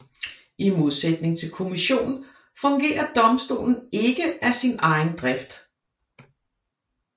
I modsætning til kommissionen fungerer domstolen ikke af egen drift